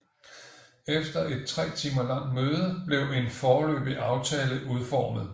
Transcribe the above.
Efter et tre timer langt møde blev en foreløbig aftale udformet